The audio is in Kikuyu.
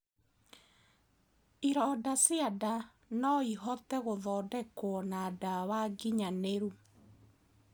Ironda cia ndaa noĩhote guthondekwo na dawa nginyaniru